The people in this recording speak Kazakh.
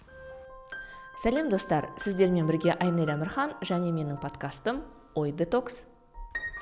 сәлем достар сіздермен бірге айнель әмірхан және менің подкастым ой детокс